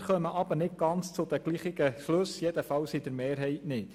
Wir kommen aber nicht zu den gleichen Schlüssen, jedenfalls nicht mehrheitlich.